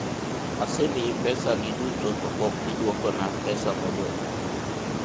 asemii pesani duto to pok idwokona pesa modong'